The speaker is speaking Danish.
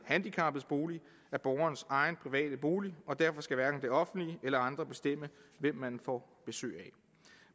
handicappedes bolig er borgerens egen private bolig og derfor skal hverken det offentlige eller andre bestemme hvem man får besøg af